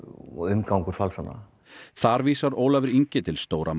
og umgangur falsana þar vísar Ólafur Ingi til stóra